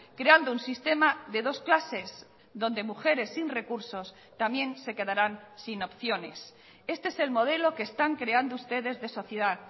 creando un sistema de dos clases donde mujeres sin recursos también se quedarán sin opciones este es el modelo que están creando ustedes de sociedad